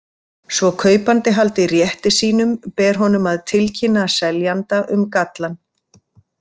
Svo kaupandi haldi rétti sínum ber honum að tilkynna seljanda um gallann.